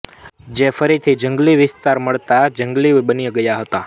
જે ફરીથી જંગલી વિસ્તાર મળતા જંગલી બની ગયા હતા